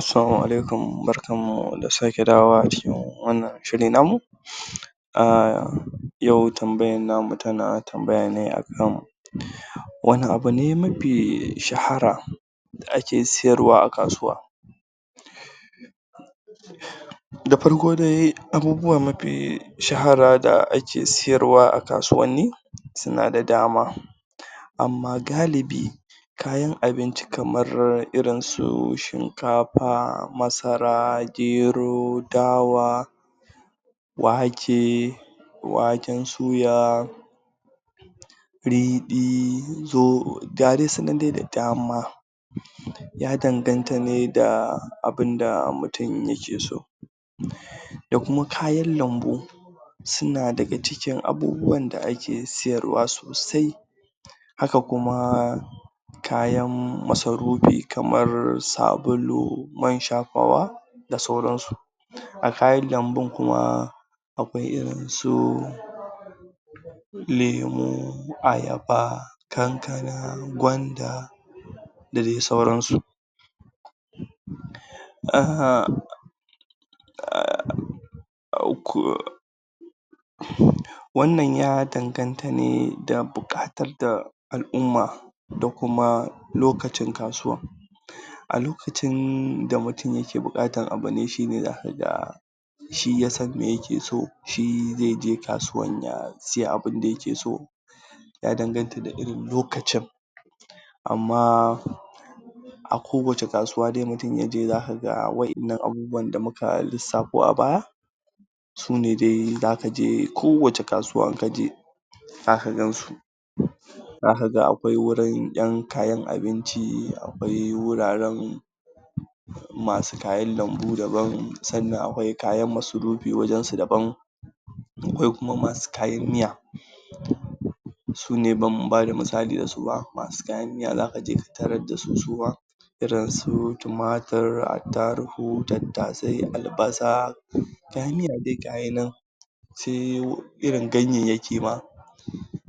Assalamu alaikum barkan mu da sake dawowa a cikin wannan shiri na mu Ah, yau tambayan na mu tana tambaya ne a kan wani abu ne mafi shahara da ake siyarwa a kasuwa? Da farko dai abubuwa mafi shahara da ake siyarwa a kasuwanni suna da dama, amma galibi kayan abinci kamar irin su shinkafa, masara, gero, dawa wake, waken suya riɗi ga dai su nan dai da dama ya danganta ne da abinda mutun yake so, da kuma kayan lambu suna daga cikin abubuwan da ake siyarwa sosai, haka kuma haka kuma kayan masarufi kamar sabulu, man shafawa da sauran su, a kayan lambun kuma akwai irin su lemu, ayaba, kankana, gwanda da dai sauran su eham.. wannan ya danganta ne da buƙatar da al'umma da kuma lokacin kasuwa, a lokacin da mutun yake buƙatar abu ne shi ne zaka ga shi ya san me yake so, shi zai je kasuwan ya siya abinda yake so, ya danganta da irin lokacin amma a kowacce kasuwa dai mutun yaje zaka ga waƴannan abubuwan da muka lissafo a baya sune dai zaka je kowacce kasuwa kaje zaka gan su, zaka ga akwai wurin ƴan kayan abinci, akwai wuraren masu kayan lambu daban, sannan akwai kayan masarufi wajen su daban akwai kuma masu kayan miya sune ban bada misali da su ba, masu kayan miya zaka je ka tarar da su suma irin su tumatir, attarugu, tattasai, albasa kayan miya dai gayi nan. se irin ganyayyaki ma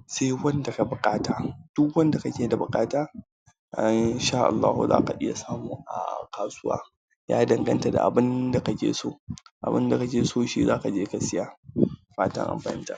sai wanda ka buƙata duk wanda kake da buƙata ai insha allahu zaka iya samu a kasuwa. ya danganta da abinda kake so, abinda kake so shi zaka je ka siya. Da fatan an fahimta